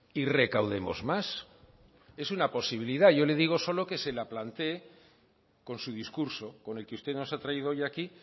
y recaudemos más es una posibilidad yo le digo solo que se la planteé con su discurso con el que usted nos ha traído hoy aquí